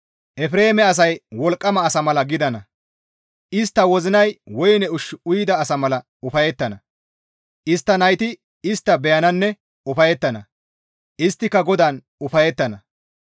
Efreeme asay wolqqama asa mala gidana; istta wozinay woyne ushshu uyida asa mala ufayettana; istta nayti istta beyananne ufayettana; isttika GODAAN ufayettana.